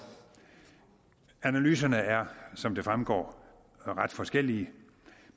analyserne er som det fremgår ret forskellige